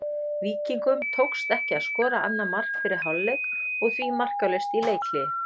Víkingum tókst ekki að skora annað mark fyrir hálfleik og því markalaust í leikhléi.